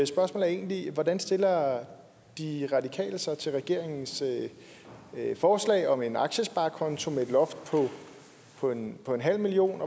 spørgsmål er egentlig hvordan stiller de radikale sig til regeringens forslag om en aktiesparekonto med et loft på en på en halv million